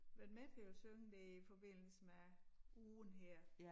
Været med til at synge dér i forbindelse med ugen her